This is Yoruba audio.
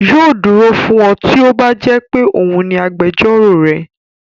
Yóò dúró fún ọ tí ó bá jẹ́ pé òun ní agbẹjọ́rò rẹ.